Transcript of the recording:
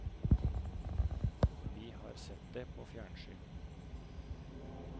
Vi har sett det på fjernsyn.